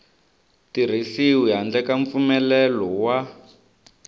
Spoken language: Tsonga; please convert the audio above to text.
tirhisiwi handle ka mpfumelelo wa